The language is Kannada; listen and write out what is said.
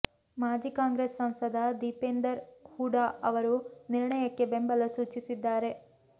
ಮಾಜಿ ಕಾಂಗ್ರೆಸ್ ಸಂಸದ ದೀಪೇಂದರ್ ಹೂಡಾ ಅವರೂ ನಿರ್ಣಯಕ್ಕೆ ಬೆಂಬಲ ಸೂಚಿಸಿದ್ದಾರೆ